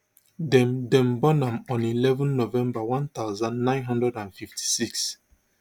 dem dem born am on eleven november one thousand, nine hundred and fifty-six